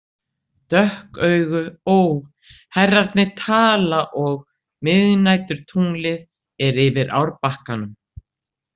Dökk augu Ó, herrarnir tala og miðnæturtunglið er yfir árbakkanum.